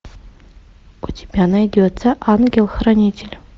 у тебя найдется ангел хранитель